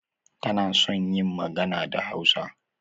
Tana son yin magana da Hausa.